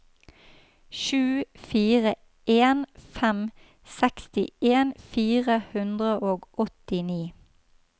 sju fire en fem sekstien fire hundre og åttini